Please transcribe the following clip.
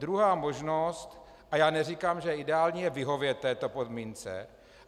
Druhá možnost, a já neříkám, že ideální, je vyhovět této podmínce.